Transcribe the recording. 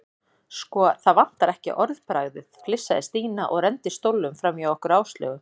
Sko, það vantar ekki orðbragðið flissaði Stína og renndi stólnum framhjá okkur Áslaugu.